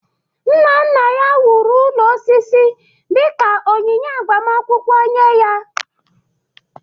Nna nna ya wuru ụlọ osisi dị ka onyinye agbamakwụkwọ nye ya.